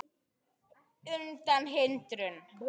undan hindrun